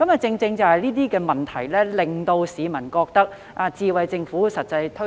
正正是類似問題，令市民覺得"智慧政府"未能成功推行。